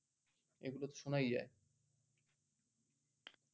এগুলা তো শোনায় যায়